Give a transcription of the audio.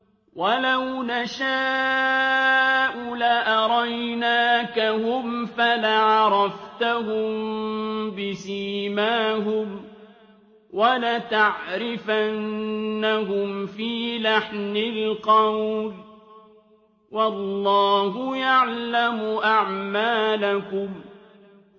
وَلَوْ نَشَاءُ لَأَرَيْنَاكَهُمْ فَلَعَرَفْتَهُم بِسِيمَاهُمْ ۚ وَلَتَعْرِفَنَّهُمْ فِي لَحْنِ الْقَوْلِ ۚ وَاللَّهُ يَعْلَمُ أَعْمَالَكُمْ